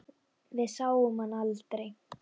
Við sáum hann aldrei.